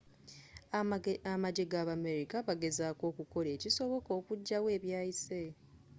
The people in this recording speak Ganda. amagye g'abamerika bagezzako okukola ekisoboka okujjawo ebyayise